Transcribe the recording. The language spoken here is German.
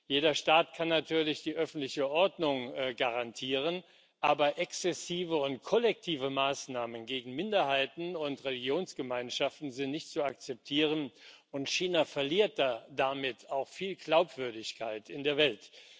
Jeder Staat kann natürlich die öffentliche Ordnung garantieren, aber exzessive und kollektive Maßnahmen gegen Minderheiten und Religionsgemeinschaften sind nicht zu akzeptieren. China verliert damit auch viel Glaubwürdigkeit in der Welt.